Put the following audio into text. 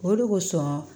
O de kosɔn